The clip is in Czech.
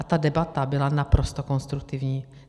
A ta debata byla naprosto konstruktivní.